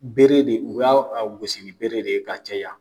Bere de u b'a gosi ni bere de ye ka caya.